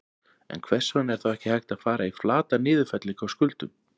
En hvers vegna er þá ekki hægt að fara í flata niðurfellingu á skuldum?